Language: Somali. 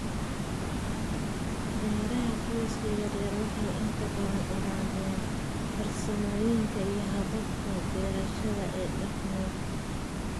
Beeraha qoyska yaryar waxay inta badan ilaaliyaan farsamooyinka iyo hababka beerashada ee dhaqameed.